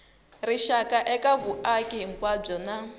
rixaka eka vumaki hinkwabyo na